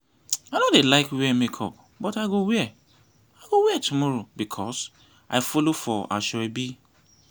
i no dey like wear makeup but i go wear i go wear tomorrow because i follow for aso-ebi